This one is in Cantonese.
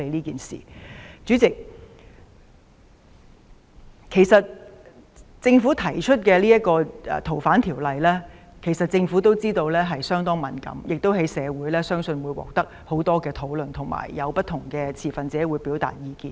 主席，政府提出修訂《逃犯條例》時，也知道這事相當敏感，亦相信會在社會上引發很多討論，不同的持份者也會表達意見。